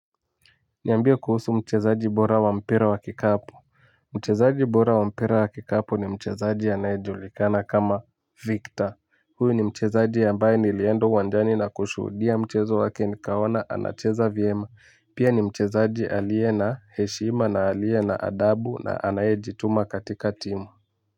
Niambie kuhusu mchezaji bora wa mpira wa kikapu. Mchezaji bora wa mpira wa kikapu ni mchezaji anaye julikana kama Victor. Huyu ni mchezaji ambaye nilienda uwanjani na kushuhudia mchezo wake nikaona anacheza vyema. Pia ni mchezaji aliye na heshima na aliye na adabu na anayejituma katika timu.